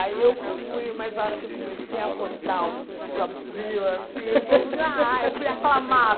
Aí eu fui, mas a hora que eu comecei a rodar, o vestido abriu, assim, e o povo, ai, fui